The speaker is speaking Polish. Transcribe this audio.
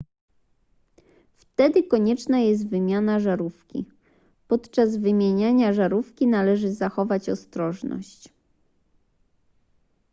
wtedy konieczna jest wymiana żarówki podczas wymieniania żarówki należy zachować ostrożność